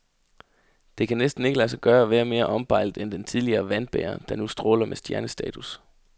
Det kan næsten ikke lade sig gøre at være mere ombejlet end den tidligere vandbærer, der nu stråler med stjernestatus.